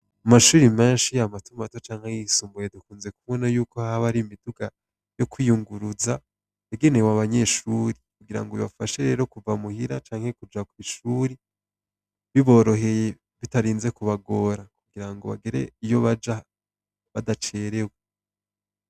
Amashuri menshi ya matumato canke yisumbuye dukunze kubona yuko haba ari imiduga yo kwiyunguruza bagenewe abanyeshuri kugira ngo bibafashe rero kuva muhira canke kuja kw'ishuri biboroheye bitarinze kubagora kugira ngo bagere iyo baja badacerewe.